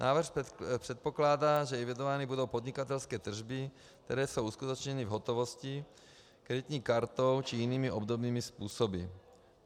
Návrh předpokládá, že evidovány budou podnikatelské tržby, které jsou uskutečněny v hotovosti, kreditní kartou či jinými obdobnými způsoby.